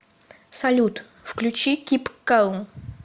салют включи кип калм